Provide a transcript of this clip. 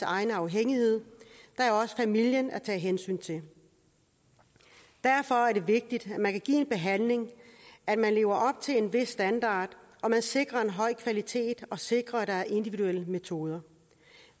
egen afhængighed der er også familien at tage hensyn til derfor er det vigtigt at man kan give en behandling at man lever op til en vis standard og at man sikrer en høj kvalitet og sikrer at der er individuelle metoder